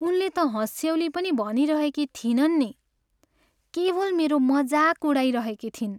उनले त हँस्यौली पनि भनिरहेकी थिइनन् नि, केवल मेरो मजाक उडाइरहेकी थिइन्।